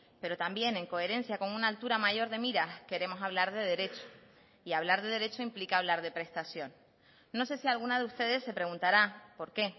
pero también en coherencia con una altura mayor de miras queremos hablar de derecho y hablar de derecho implica hablar de prestación no sé si alguna de ustedes se preguntará por qué